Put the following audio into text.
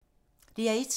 DR1